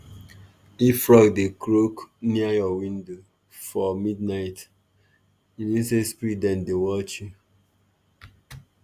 if frog dey croak near your window for midnight e mean say spirit dem dey watch you.